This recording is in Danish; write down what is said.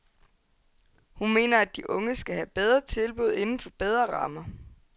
Hun mener, at de unge skal have bedre tilbud inden for bedre rammer.